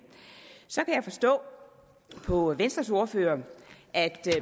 så forstå på venstres ordfører at